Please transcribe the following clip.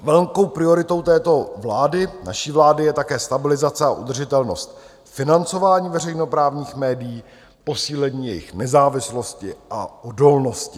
Velkou prioritou této vlády, naší vlády, je také stabilizace a udržitelnost financování veřejnoprávních médií, posílení jejich nezávislosti a odolnosti.